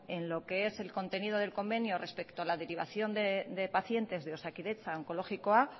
en lo que es el contenido del convenio respeto a la derivación de pacientes de osakidetza a onkologikoa